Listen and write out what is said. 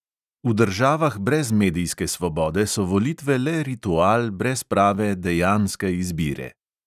V državah brez medijske svobode so volitve le ritual brez prave dejanske izbire.